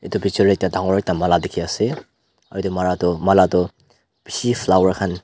Etu picture dae ekta dangor ekta mala dekhe ase aro etu mala tuh mala tuh beshi flower khan.